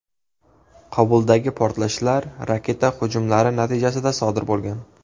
Qobuldagi portlashlar raketa hujumlari natijasida sodir bo‘lgan.